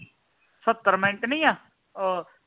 ਸਤਰ ਮਿੰਟ ਨਹੀਂ ਆ ਓ